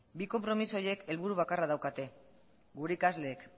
bi konpromiso horiek helburu bakarra daukate gure ikasleek